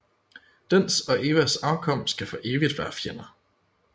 Dens og Evas afkom skal for evigt være fjender